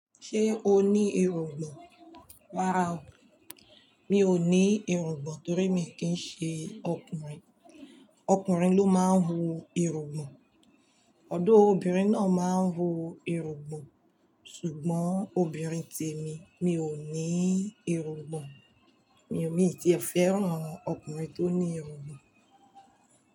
Ṣé o ní irungbọ̀n? Rárá o, mi ò ní irungbọ̀n torí mi kì í ṣe ọkùnrin. Ọkùnrin ló máa ń hu irungbọ̀n. Although obìnrin náà máa ń hu irungbọ̀n, ṣùgbọ́n obìnrin tèmi, mi ò ní irungbọ̀n. Mi ò tiẹ fẹ́rán ọkùnrin tó ní irungbọ̀n.